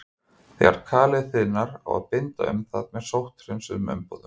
Þegar kalið þiðnar á að binda um það með sótthreinsuðum umbúðum.